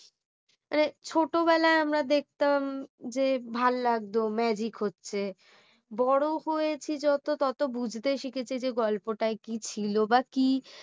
মানে ছোট বেলায় আমরা দেখতাম যে ভালো লাগতো magic হচ্ছে বড় হয়েছি যত তত বুঝতে শিখেছে যে গল্পটায় কি ছিল বা কি